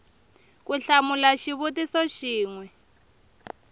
ku hlamula xivutiso xin we